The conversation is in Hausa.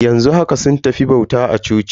Yanzu haka sun tafi bauta a coci.